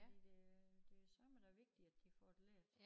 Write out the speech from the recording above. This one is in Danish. Fordi det det jo sørme da vigtigt at de får det lært